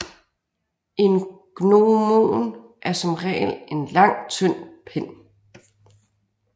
En gnomon er som regel en lang tynd pind